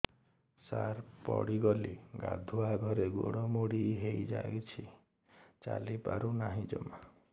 ସାର ପଡ଼ିଗଲି ଗାଧୁଆଘରେ ଗୋଡ ମୋଡି ହେଇଯାଇଛି ଚାଲିପାରୁ ନାହିଁ ଜମା